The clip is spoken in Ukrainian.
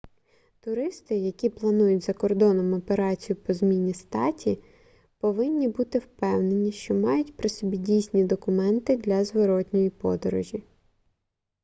туристи які планують за кордоном операцію по зміні статі повинні бути впевнені що мають при собі дійсні документи для зворотної подорожі